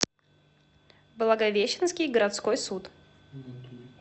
благовещенский городской суд